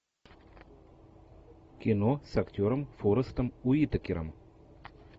кино с актером форестом уитакером